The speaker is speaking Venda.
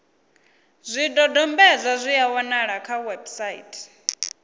zwidodombedzwa zwi a wanalea kha website